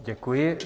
Děkuji.